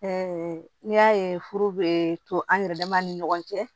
n'i y'a ye furu bɛ to an yɛrɛ dama ni ɲɔgɔn cɛ